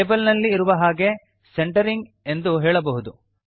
table ನಲ್ಲಿ ಇರುವ ಹಾಗೆ ಸೆಂಟರಿಂಗ್ ಎಂದು ಹೇಳಬಹುದು